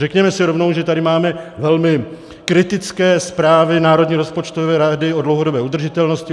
Řekněme si rovnou, že tady máme velmi kritické zprávy Národní rozpočtové rady o dlouhodobé udržitelnosti.